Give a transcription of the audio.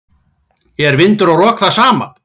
Er vindur og rok það sama?